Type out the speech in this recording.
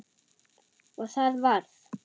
Og það varð.